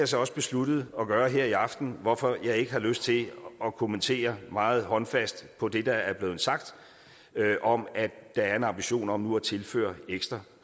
så også besluttet at gøre her i aften hvorfor jeg ikke har lyst til at kommentere meget håndfast på det der er blevet sagt om at der er en ambition om nu at tilføre ekstra